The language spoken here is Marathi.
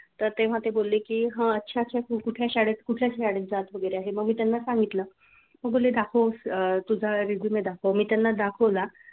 तर तेव्हा ते बोलले कि हा अच्छा अच्छा तू कुठल्या शाळेत कुठल्या शाळेत जात वगैरे आहे मग मी त्यांना सांगितलं मग बोललो दाखव तुझा resume दाखव मी त्यांना दाखवला.